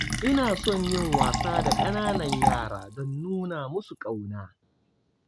Ina son yin wasa da ƙananan yara don nuna musu ƙauna.